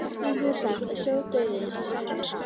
Stundum er sagt að sjódauðinn sé sætur.